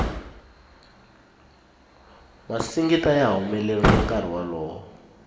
masingita ya humelerile nkarhi wolowo